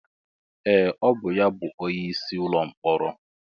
Ee! Ọ bụ ya bụ onyeisi ụlọ mkpọrọ.